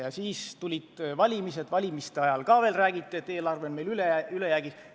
Siis tulid valimised ja valimiste ajal ka veel räägiti, et eelarve on meil ülejäägis.